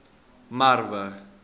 merwe